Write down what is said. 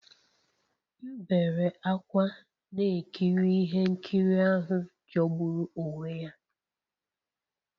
M bere ákwá na-ekiri ihe nkiri ahụ jọgburu onwe ya